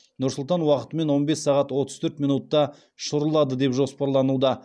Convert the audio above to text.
нұр сұлтан уақытымен он бес сағат отыз төрт минутта ұшырылады деп жоспарлануда